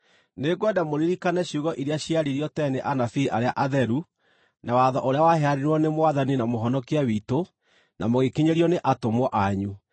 Nĩngwenda mũririkane ciugo iria ciaririo tene nĩ anabii arĩa atheru na watho ũrĩa waheanirwo nĩ Mwathani na Mũhonokia witũ na mũgĩkinyĩrio nĩ atũmwo anyu.